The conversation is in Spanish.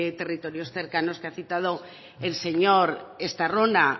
territorios cercanos que ha citado el señor estarrona